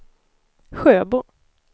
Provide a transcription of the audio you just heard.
Sjöbo